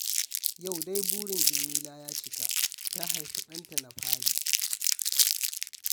Yau dai burin Jamila ya cika, ta haifi ɗanta na fari